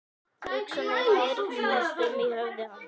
Hugsanir þyrlast um í höfði hans.